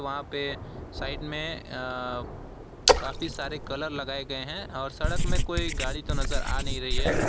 वहां पे साइड में अह काफी सारे कलर लगाए गए हैं और सड़क में कोई गाड़ी तो नजर आ नहीं रही है।